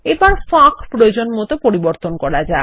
এবারফাঁক প্রয়োজনমত পরিবর্তন করা যাক